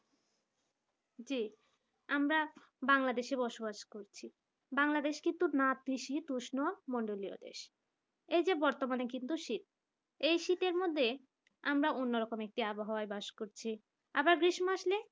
জি আমরা bangladesh বসবাস করছি bangladesh কিন্তু নাতিশীতোষ্ণ মণ্ডলীয় দেশ এই যে বর্তমানে কিন্তু শীত এই শীতের মধ্যে আমরা অন্যরকম একটা আবহাওয়াতে বাস করছি। আবার গ্রীষ্ম আসলে